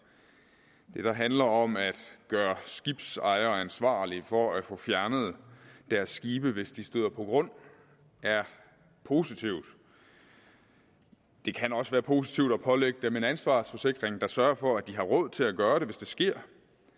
vi der handler om at gøre skibsejere ansvarlige for at få fjernet deres skibe hvis de støder på grund er positivt det kan også være positivt at pålægge dem en ansvarsforsikring der sørger for at de har råd til at gøre det hvis det sker